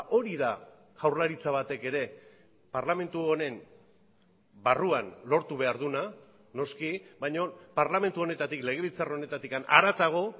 hori da jaurlaritza batek ere parlamentu honen barruan lortu behar duena noski baina parlamentu honetatik legebiltzar honetatik haratago